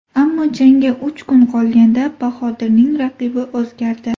Ammo jangga uch kun qolganda Bahodirning raqibi o‘zgardi.